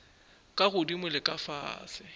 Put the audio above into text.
ka godimo le ka fase